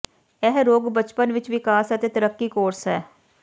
ਇਹ ਰੋਗ ਬਚਪਨ ਵਿਚ ਵਿਕਾਸ ਅਤੇ ਤਰੱਕੀ ਕੋਰਸ ਹੈ